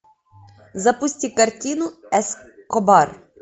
запусти картину эскобар